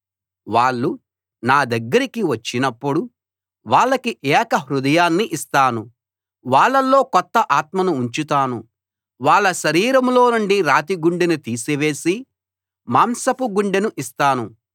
వాళ్ళు నా దగ్గరకి వచ్చినప్పుడు వాళ్లకి ఏక హృదయాన్ని ఇస్తాను వాళ్ళలో కొత్త ఆత్మను ఉంచుతాను వాళ్ళ శరీరంలోనుండి రాతి గుండెను తీసివేసి మాంసపు గుండెని ఇస్తాను